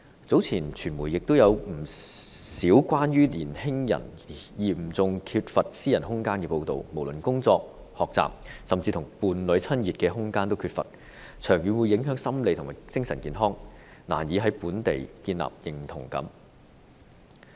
早前傳媒也有不少關於年青人嚴重缺乏私人空間的報道，無論是工作、學習，甚至跟伴侶親熱的空間也缺乏，長遠會影響心理和精神健康，難以在本地建立認同感。